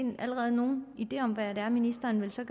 allerede nogle ideer om hvad det er ministeren så